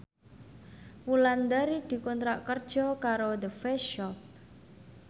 Wulandari dikontrak kerja karo The Face Shop